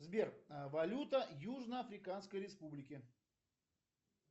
сбер валюта южно африканской республики